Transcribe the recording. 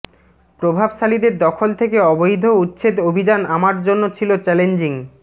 প্রভাবশালীদের দখল থেকে অবৈধ উচ্ছেদ অভিযান আমার জন্য ছিল চ্যালেঞ্জিং